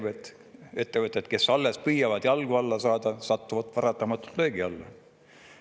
Väikeettevõtjaid, kes alles püüavad jalgu alla saada, satuvad paratamatult löögi alla.